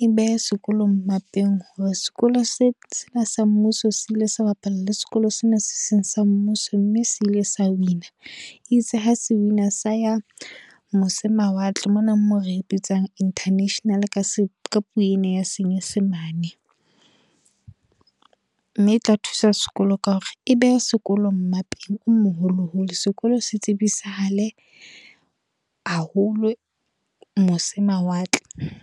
e behe sekolong mmapeng. Hore, sekolo sena sa mmuso se ile sa bapala le sekolo sena se seng sa mmuso, mme se ile sa wina. E itse ha se wina, sa ya mose mawatle. Mona mo re ebitsang internationally ka puo ena ya senyesemane. Mme e tla thusa sekolo ka hore, e beha sekolo mmapeng o moholo holo. Sekolo se tsebisahale haholo, mose mawatle.